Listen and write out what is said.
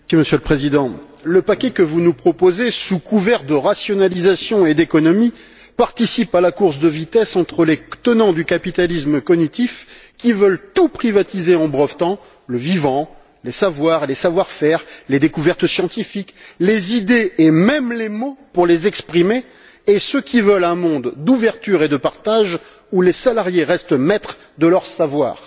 Monsieur le Président, le paquet que vous nous proposez, sous couvert de rationalisation et d'économie, participe à la course de vitesse entre les tenants du capitalisme cognitif qui veulent tout privatiser en brevetant le vivant, les savoirs, les savoir faire, les découvertes scientifiques, les idées et même les mots pour les exprimer, et ceux qui veulent un monde d'ouverture et de partage où les salariés restent maîtres de leur savoir.